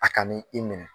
A ka n'i i minɛ